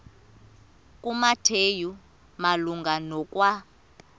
kumateyu malunga nokwa